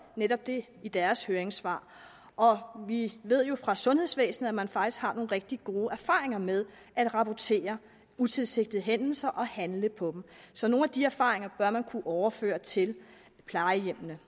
netop det i deres høringssvar og vi ved jo fra sundhedsvæsenet at man faktisk har nogle rigtig gode erfaringer med at rapportere utilsigtede hændelser og handle på dem så nogle af de erfaringer bør man kunne overføre til plejehjemmene